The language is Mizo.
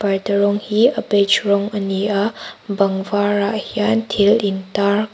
parda rawng hi a beige rawng a ni a bang varah hian thil intar--